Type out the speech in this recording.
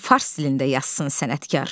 Gərək fars dilində yazsın sənətkar.